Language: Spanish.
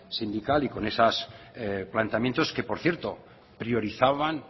sindical y con esos planteamientos que por cierto priorizaban